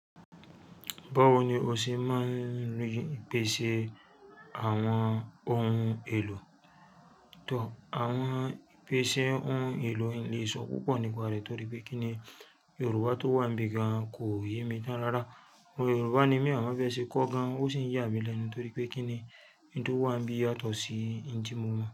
Báwo ni o ṣe máa ń rí ìpèsè àwọn ohun èlò? Tọ, àwọn ìpèsè ohun èlò n lè sọ púpọ̀ nípa rẹ̀ torí pé kíni Yorùbá tó wà nbì gan kò yé mi tán rara. Òmo Yorùbá ni mí àmọ bẹ́ ṣe kọ gan, o sì ń yà mí lẹ́nu torí pé kíni n tó wà nbì yàtọ̀ sí n ti mo mọ̀